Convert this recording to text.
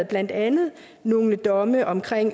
blandt andet nogle domme om